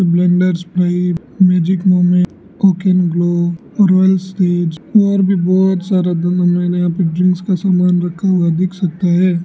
Blenders Pride Magic Moment Oaken Glow Royal Stag और भी बहुत सारा यहाँ पे ड्रिंक्स का सामान रखा हुआ दिख सकता है।